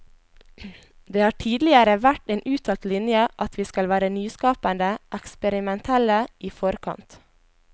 Det har tidligere vært en uttalt linje at vi skal være nyskapende, eksperimentelle, i forkant.